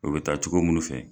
O bɛ taa cogo munnu fɛ.